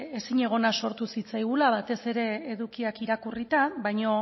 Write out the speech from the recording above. ezinegona sortu zitzaigula batez ere edukiak irakurrita baina